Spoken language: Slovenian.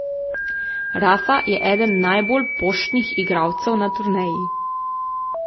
Rafa je eden najbolj poštnih igralcev na turneji.